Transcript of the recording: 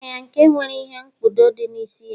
amuru ya nke nwere ihe-nkpudo di n'isi-ya